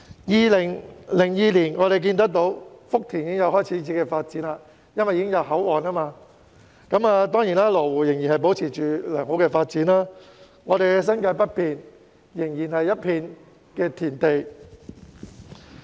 2002年福田開始發展，因為設立了口岸，而羅湖亦繼續保持良好發展，但我們的新界北面仍然是一片田地。